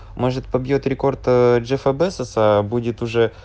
может побьёт рекорд джеффа безоса будет уже